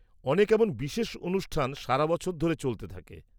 -অনেক এমন বিশেষ অনুষ্ঠান সারা বছর ধরে চলতে থাকে।